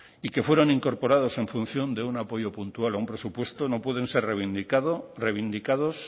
y que fueron incorporados en función de un apoyo puntual a un presupuesto no pueden ser revindicados